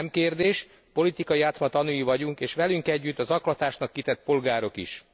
Nem kérdés, politikai játszma tanúi vagyunk és velünk együtt a zaklatásnak kitett polgárok is.